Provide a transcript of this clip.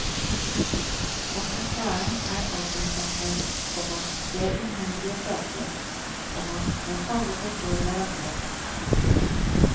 Atmosfæren er altomfattende, komma det er umulig å prate, komma men alle forstår hverandre. punktum